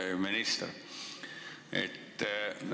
Hea minister!